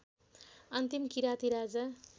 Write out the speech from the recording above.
अन्तिम किराँती राजा